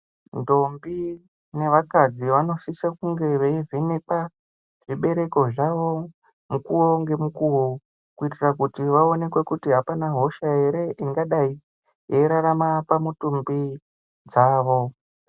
Ndombi nevakadzi vanosise kunge veivhenekwa zvibereko zvawo mukuwo ngemukuwo kuitira kuti vaonekwe kuti havana hosha ere ingadai yeirarama pamitumbi dzavo.